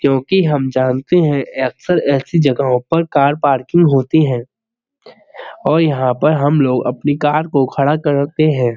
क्यों कि हम जानते है अक्सर ऐसी जगहों पर कार पार्किंग होती है और यहाँ पर हम लोग अपनी कार को खड़ा करके हैं।